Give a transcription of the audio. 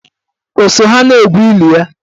O so ha na-egwu ili ya?